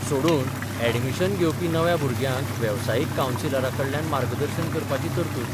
सोडून अॅडमिशन घेवपी नव्या भुरग्यांक वेबसायीक कावंसिलरांकडल्यान मार्गदर्शन करपाची तरतूद.